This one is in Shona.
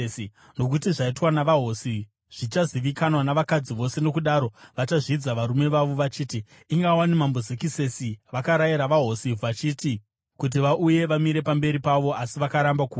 Nokuti zvaitwa navahosi zvichazivikanwa navakadzi vose, nokudaro vachazvidza varume vavo vachiti, ‘Inga wani Mambo Zekisesi vakarayira vaHosi Vhashiti kuti vauye vamire pamberi pavo, asi vakaramba kuuya.’